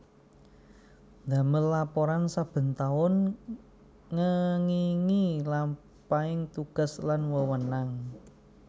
Ndamel laporan saben taun ngengingi lampahing tugas lan wewenang